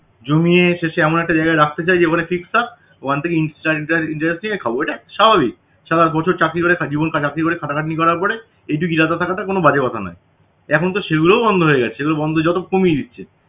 জমিয়ে শেষে এমন একটা জায়গায় রাখতে চায় যে ওখানে fixed থাক ওখান থেকে interest আর interest থেকে খাবো স্বাভাবিক সারা বছর চাকরি করে জীবন চাকরি করে খাটাখাটনি করার পরে এইটুকু irada থাকাটা কোনো বাজে কথা নয় এখন তো সেগুলোও বন্ধ হয়ে যাচ্ছে বন্ধ হয়ে যত কমিয়ে দিচ্ছে